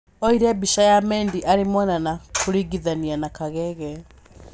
Oire mbica ya Mendy arĩ mwana na kũringithania na kagege